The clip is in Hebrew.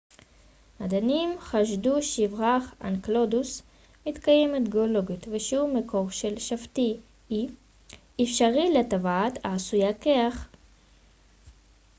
מדענים חשדו שבירח אנקלדוס מתקיימת גאולוגית ושהוא מקור אפשרי לטבעת e של שבתאי העשויה קרח